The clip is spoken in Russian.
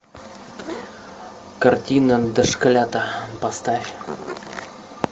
картина дошколята поставь